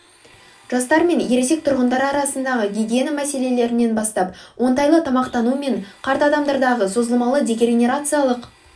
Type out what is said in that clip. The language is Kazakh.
жастар мен ересек тұрғындар арасындағы гигиена мәселелерінен бастап оңтайлы тамақтану мен қарт адамдардағы созылмалы дегенерациялық